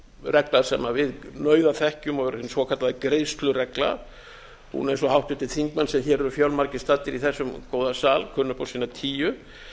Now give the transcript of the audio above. regla sem við nauðaþekkjum og er hin svokallaða greiðsluregla hún eins og háttvirtir þingmenn sem hér eru fjölmargir staddir í þessum góða sal kunna upp á sína tíu